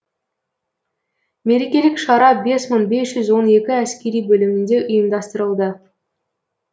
мерекелік шара бес мың бес жүз он екі әскери бөлімінде ұйымдастырылды